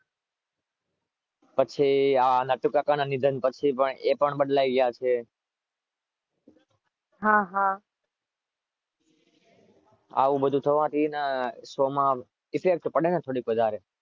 પછી નટુ કાકાના નિધન પછી એ પણ બદલાઈ ગયા છે.